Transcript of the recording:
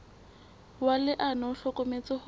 wa leano o hlokometse hore